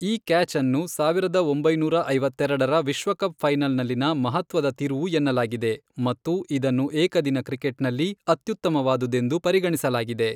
ಈ ಕ್ಯಾಚ್ಅನ್ನು ಸಾವಿರದ ಒಂಬೈನೂರ ಐವತ್ತೆರೆಡರ ವಿಶ್ವಕಪ್ ಫೈನಲ್ನಲ್ಲಿನ ಮಹತ್ವದ ತಿರುವು ಎನ್ನಲಾಗಿದೆ ಮತ್ತು ಇದನ್ನು ಏಕದಿನ ಕ್ರಿಕೆಟ್ನಲ್ಲಿ ಅತ್ಯುತ್ತಮವಾದುದೆಂದು ಪರಿಗಣಿಸಲಾಗಿದೆ.